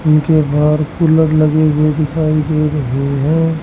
उनके बाहर कूलर लगी हुई दिखाई दे रहे हैं।